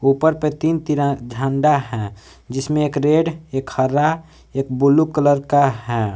ऊपर पे तीन तिरा झंडा है जिसमें एक रेड एक हरा एक ब्लू कलर का है।